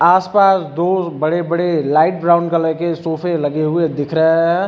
आसपास दो बड़े बड़े लाइट ब्राउन कलर के सोफे लगे हुए दिख रहे है।